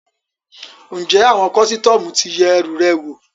Ǹjẹ́ àwọn kọ́sítọ́mù ti yẹ ẹrù rẹ wò?